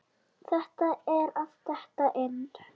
Þetta er að detta inn.